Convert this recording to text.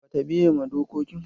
Bata biye ma dokokin.